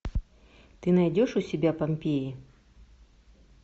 ты найдешь у себя помпеи